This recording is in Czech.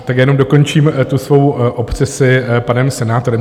Tak já jenom dokončím tu svou obsesi panem senátorem.